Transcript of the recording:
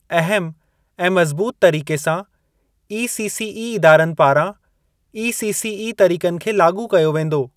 अहम ऐं मज़बूत तरीक़े सां ईसीसीई इदारनि पारां ईसीसीई तरीक़नि खे लाॻू कयो वेंदो।